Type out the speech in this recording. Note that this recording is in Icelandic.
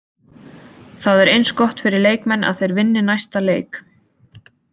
Það er eins gott fyrir leikmenn að þeir vinni næsta leik.